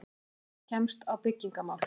HREYFING KEMST Á BYGGINGARMÁL